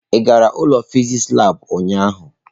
Ị gara ụlọ fịsịsị labụ ụnyahụ?